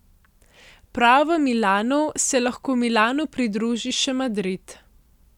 Prav v Milanu se lahko Milanu pridruži še Madrid.